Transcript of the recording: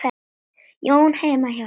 Jóni heima hjá henni.